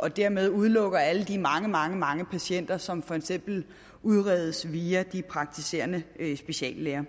og dermed udelukker alle de mange mange mange patienter som for eksempel udredes via de praktiserende speciallæger